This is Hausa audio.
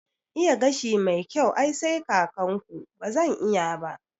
Iya gashi mai kyau ai sai kakan ku, bazan iya ba